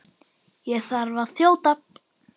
Ég þarf að þjóta.